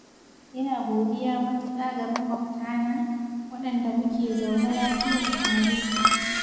ina godiya matuƙa ga maƙwabtana, waɗanda muke zaune lafiya tare.